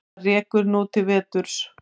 Það rekur nú til vesturs.